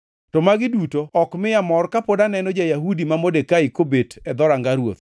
To magi duto ok miya mor kapod aneno ja-Yahudi ma Modekai kobet e dhoranga ruoth.”